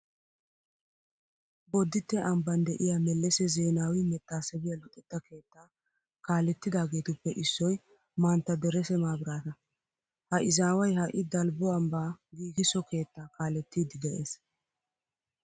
Bodditte ambban de'iya mellese zeenaawi mettaasebiya luxetta keettaa kaalettidaageetuppe issoy mantta derese maabiraata. Ha izaaway ha"i dalbbo ambbaa giigisso keettaa kaalettiiddi de'ees.